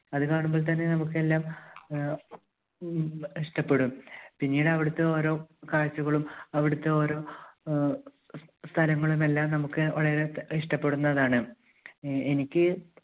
അത് കാണുമ്പോൾ തന്നെ നമുക്കെല്ലാം ആഹ് ഇ~ഇഷ്ടപ്പെടും. പിന്നീട് അവിടുത്തെ ഓരോ കാഴ്ചകളും അവിടുത്തെ ഓരോ ആഹ് സ്~സ്~സ്ഥലങ്ങളുമെല്ലാം നമുക്ക് വളരെ ഇഷ്ടപ്പെടുന്നതാണ്. അഹ് എനിക്ക്